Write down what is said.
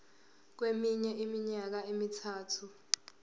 kweminye iminyaka emithathu